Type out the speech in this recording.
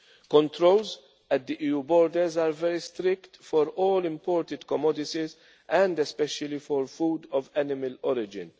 Controls at the EU borders are very strict for all imported commodities and especially for food of animal